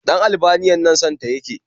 Ɗan Albaniyan nan son ta ya ke